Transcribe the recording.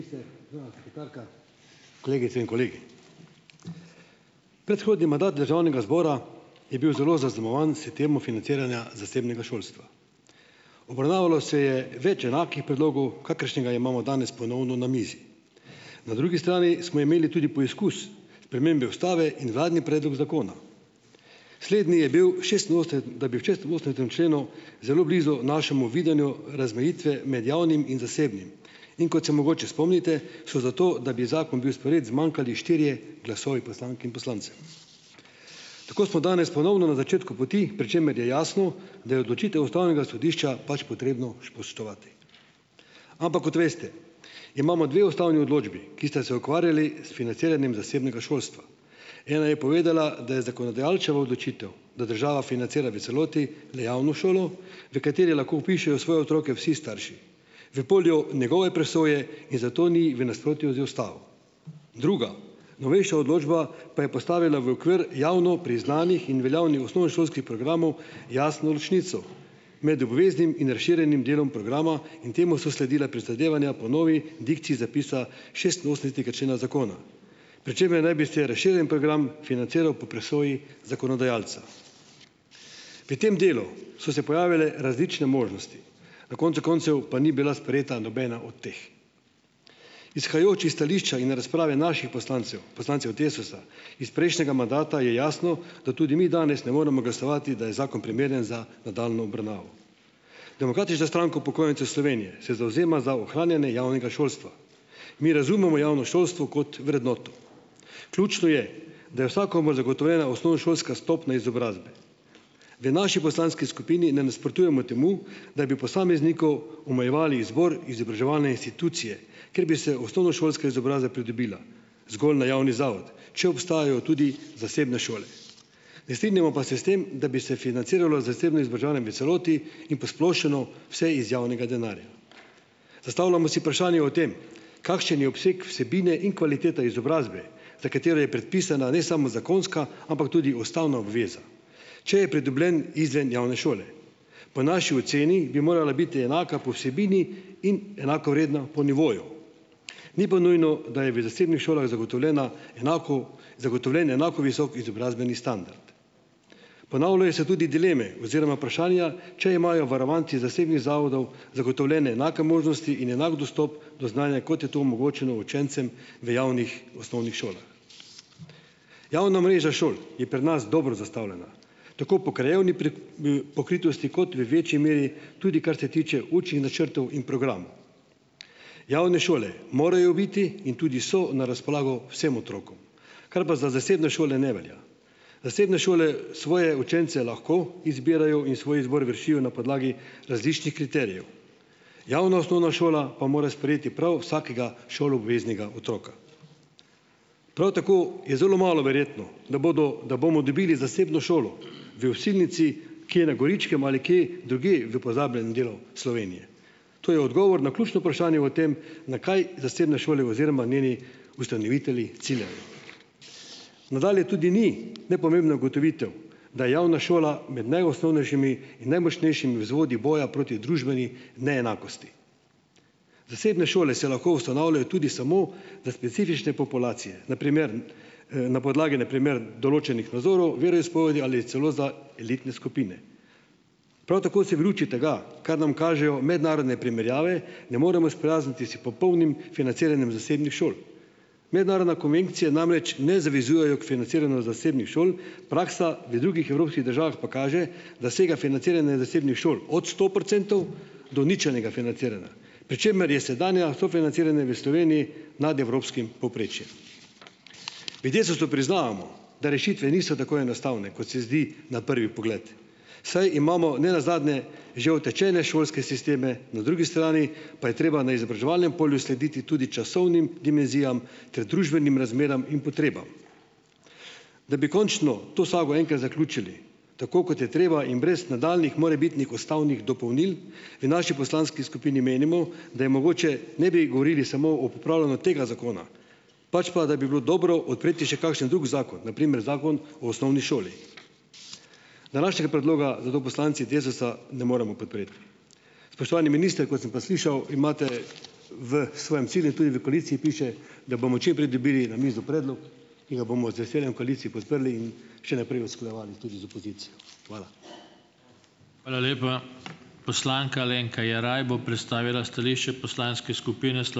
Kolegice in kolegi! Predhodni mandat državnega zbora je bil zelo zaznamovan s temo financiranja zasebnega šolstva. Obravnavalo se je več enakih predlogov, kakršnega imamo danes ponovno na mizi. Na drugi strani smo imeli tudi poizkus spremembe ustave in vladni predlog zakona. Slednji je bil, da bi v šestinosemdesetem členu - zelo blizu našemu videnju razmejitve med javnim in zasebnim. In kot se mogoče spomnite, so za to, da bi zakon bil sprejet, zmanjkali štirje glasovi poslank in poslancev. Tako smo danes ponovno na začetku poti, pri čemer je jasno, da je odločitev ustavnega sodišča pač potrebno spoštovati. Ampak - kot veste - imamo dve ustavni odločbi, ki sta se ukvarjali s financiranjem zasebnega šolstva. Ena je povedala, da je zakonodajalčeva odločitev, da država financira v celoti le javno šolo, v kateri lahko vpišejo svoje otroke vsi starši. V polju njegove presoje in zato ni v nasprotju z ustavo. Druga - novejša odločba pa je postavila v okvir javno priznanih in veljavnih osnovnošolskih programov jasno ločnico. Med obveznim in razširjenim delom programa in temu so sledila prizadevanja po novi dikciji zapisa šestinosemdesetega člena zakona. Pri čemer naj bi se razširjen program financiral po presoji zakonodajalca. Pri tem delu so se pojavile različne možnosti. Na koncu koncev pa ni bila sprejeta nobena od teh. Izhajajoč iz stališča in razprave naših poslancev, poslancev Desusa, iz prejšnjega mandata je jasno, da tudi mi danes ne moremo glasovati, da je zakon primeren za nadaljnjo obravnavo. Demokratična stranka upokojencev Slovenije se zavzema za ohranjanje javnega šolstva. Mi razumemo javno šolstvo kot vrednoto. Ključno je, da je vsakomur zagotovljena osnovnošolska stopnja izobrazbe. V naši poslanski skupini ne nasprotujemo temu, da bi posamezniku omejevali izbor izobraževalne institucije, ker bi se osnovnošolska izobrazba pridobila zgolj na javni zavod, če obstajajo tudi zasebne šole. Ne strinjamo pa se s tem, da bi se financiralo zasebno izobraževanje v celoti in posplošeno vse iz javnega denarja. Zastavljamo si vprašanje o tem, kakšen je obseg vsebine in kvalitete izobrazbe, za katero je predpisana ne samo zakonska, ampak tudi ustavna obveza, če je pridobljen izven javne šole. Po naši oceni bi morala biti enaka po vsebini in enakovredna po nivoju. Ni pa nujno, da je v zasebnih šolah zagotovljena, enako zagotovljen enako visok izobrazbeni standard. Ponavljajo se tudi dileme oziroma vprašanja, če imajo varovanci zasebnih zavodov zagotovljene enake možnosti in enak dostop do znanja, kot je to omogočeno učencem v javnih osnovnih šolah. Javna mreža šol je pri nas dobro zastavljena, tako po krajevni pokritosti kot v večji meri tudi, kar se tiče učnih načrtov in programov. Javne šole morajo biti in tudi so na razpolago vsem otrokom, kar pa za zasebne šole ne velja. Zasebne šole svoje učence lahko izbirajo in svoj izbor vršijo na podlagi različnih kriterijev. Javna osnovna šola pa mora sprejeti prav vsakega šoloobveznega otroka. Prav tako je zelo malo verjetno, da bodo, da bomo dobili zasebno šolo v Osilnici, ki je na Goričkem ali kje drugje v pozabljenem delu Slovenije. To je odgovor na ključno vprašanje o tem, na kaj zasebne šole oziroma njeni ustanovitelji ciljajo. Nadalje tudi ni nepomembna ugotovitev, da je javna šola med najosnovnejšimi in najmočnejšimi vzvodi boja proti družbeni neenakosti. Zasebne šole se lahko ustanavljajo tudi samo za specifične populacije, na primer, na podlagi na primer določenih nazorov, veroizpovedi ali celo za elitne skupine. Prav tako se v luči tega, ker nam kažejo mednarodne primerjave ne moremo sprijazniti s popolnim financiranjem zasebnih šol. Mednarodne konvencije namreč ne zavezujejo k financiranju zasebnih šol. Praksa v drugih evropskih državah pa kaže, da sega financiranje zasebnih šol od sto procentov do ničelnega financiranja, pri čemer je sedanje sofinanciranje v Sloveniji nad evropskim povprečjem. V Desusu priznavamo, da rešitve niso tako enostavne, kot se zdi na prvi pogled, saj imamo ne nazadnje že utečene šolske sisteme, na drugi strani pa je treba na izobraževalnem polju slediti tudi časovnim dimenzijam ter družbenim razmeram in potrebam. Da bi končno to sago enkrat zaključili tako, kot je treba, in brez nadaljnjih morebitnih ustavnih dopolnil. V naši poslanski skupini menimo, da je mogoče, ne bi govorili samo o popravljanju tega zakona, pač pa, da bi bilo dobro odpreti še kakšen drug zakon, na primer zakon o osnovni šoli. Današnjega predloga zato poslanci Desusa ne moremo podpreti. Spoštovani minister, kot sem pa slišal, imate v svojem cilju, tudi v koaliciji piše, da bomo čim prej dobili na mizo predlog, ki ga bomo z veseljem v koaliciji podprli in še naprej usklajevali tudi z opozicijo. Hvala.